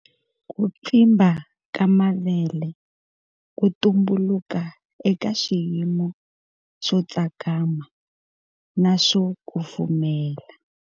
Ku pfimba ka mavele ku tumbuluka eka xiyimo xo tsakama na swo kufumela.